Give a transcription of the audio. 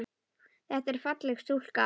Þetta er falleg stúlka.